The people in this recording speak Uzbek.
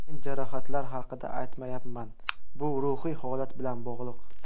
Men jarohatlar haqida aytmayapman, bu ruhiy holat bilan bog‘liq.